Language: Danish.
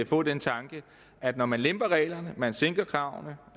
få den tanke at når man lemper reglerne man sænker kravene